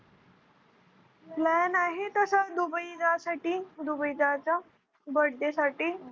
Plan आहे तसं Dubai जा साठी, दुबई जायचा Birthday साठी.